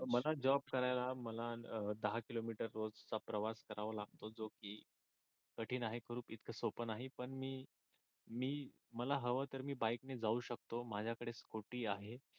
मला जॉब करायला मला दहा किलोमिटर रोज चा प्रवास करावा लागतो जो की कठीण आहे करू इतक सोप नाही पण मी मी मला हव तर मी बाईकने जाऊ शकतो. माझ्याकडे स्कुटी आहे.